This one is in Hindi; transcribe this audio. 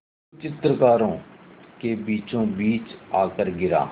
जो चित्रकारों के बीचोंबीच आकर गिरा